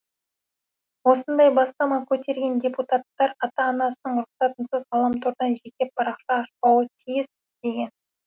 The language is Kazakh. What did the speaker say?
осындай бастама көтерген депутаттар ата анасының рұқсатынсыз ғаламтордан жеке парақша ашпауы тиіс деген